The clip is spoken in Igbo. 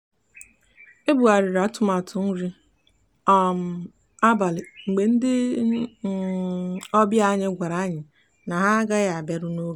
e bugharịrị atụmatụ nri um abalị mgbe ndị um obịa anyị gwara anyị na ha agaghị abịaru n'oge.